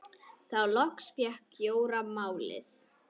Þá loks fékk Jóra málið.